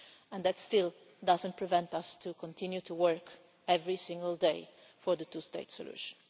But that still does not prevent us from continuing to work every single day for the two state solution.